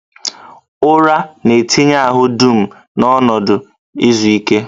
Ụra na-etinye ahụ dum n'ọnọdụ izu ike